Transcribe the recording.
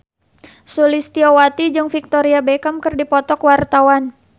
Sulistyowati jeung Victoria Beckham keur dipoto ku wartawan